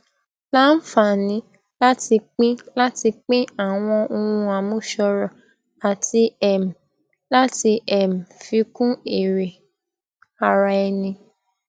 láǹfààní láti pín láti pín àwọn ohun àmúṣọrò àti um láti um fi kún èrè ara ẹni